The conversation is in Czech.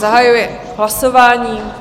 Zahajuji hlasování.